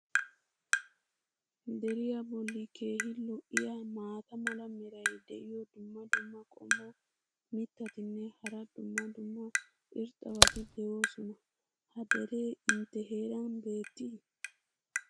Deriya boli keehi lo'iya maata mala meray diyo dumma dumma qommo mitattinne hara dumma dumma irxxabati de'oosona. ha deree intte heeran beetii?